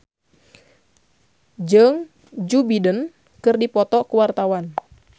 Rafael Landry Tanubrata jeung Joe Biden keur dipoto ku wartawan